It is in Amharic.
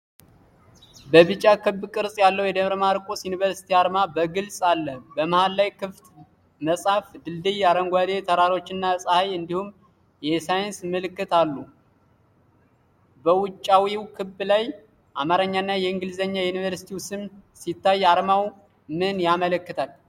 ቢጫ ክብ ቅርጽ ያለው የደብረ ማርቆስ ዩኒቨርሲቲ አርማ በግልጽ አለ። በመሃል ላይ ክፍት መጽሐፍ፣ ድልድይ፣ አረንጓዴ ተራሮችና ፀሐይ እንዲሁም የሳይንስ ምልክት አሉ። በውጫዊው ክብ ላይ የአማርኛና የእንግሊዘኛ የዩኒቨርሲቲው ስም ሲታይ፣ አርማው ምን ያመለክታል?